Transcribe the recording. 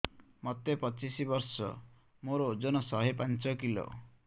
ମୋତେ ପଚିଶି ବର୍ଷ ମୋର ଓଜନ ଶହେ ପାଞ୍ଚ କିଲୋ